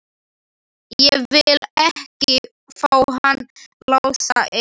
Ég vil ekki fá hann Lása inn.